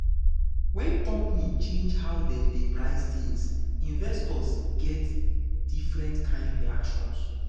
um when company change how dem dey price things investors get um different kind reactions.